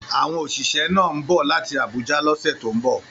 Àwọn òṣìṣẹ́ náà ń bọ̀ láti Abuja lọ́sẹ̀ tó ń bọ̀